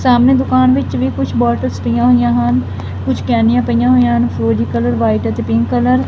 ਸਾਹਮਨੇ ਦੁਕਾਨ ਵਿੱਚ ਵੀ ਕੁਛ ਬੋਟੇਲਸ ਪਈਆਂ ਹੋਈਆਂ ਹਨ ਕੁਛ ਕੇਨੀਆਂ ਪਈਆਂ ਹੋਈਆਂ ਹਨ ਫਿਰੋਜ਼ੀ ਕਲਰ ਵ੍ਹਾਈਟ ਅਤੇ ਪਿੰਕ ਕਲਰ ।